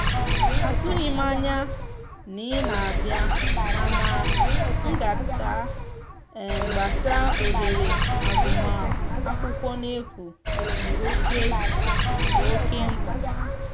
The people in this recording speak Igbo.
atughim anya na ị na abia mana ngata gbasa ohere agụma akwụkwo n'efu di oke di oke mkpa